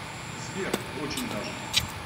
сбер очень даже